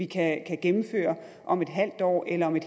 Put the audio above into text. kan gennemføre om en halv år eller om en